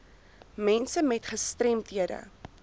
mense met gestremdhede